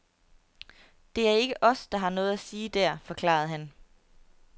Det er ikke os, der har noget at sige der, forklarede han.